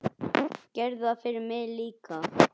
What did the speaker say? Gerðu það fyrir mig líka.